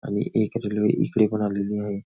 आणि एक रेल्वे एकडे पण आलेली आहे.